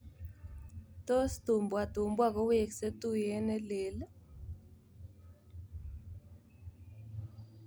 Tos Tumbua Tumbua kowekse tuyet nelel?